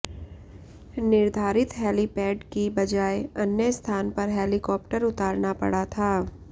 निर्धारित हेलीपेड की बजाय अन्य स्थान पर हेलीकॉप्टर उतारना पड़ा था